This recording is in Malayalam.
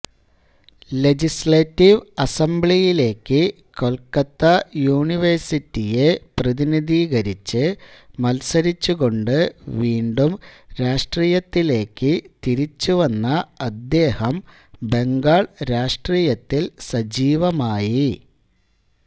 ലെജിസ്ലേറ്റീവ് അസംബ്ലിയിലേക്ക് കൊൽക്കത്താ യൂണിവേഴ്സിറ്റിയെ പ്രധിനിധീകരിച്ച് മത്സരിച്ച് കൊണ്ട് വീണ്ടും രാഷ്ട്രീയത്തിലേക്ക് തിരിച്ചുവന്ന അദ്ദേഹം ബംഗാൾരാഷ്ട്രീയത്തിൽ സജീവമായി